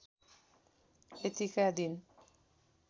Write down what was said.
यतिका दिन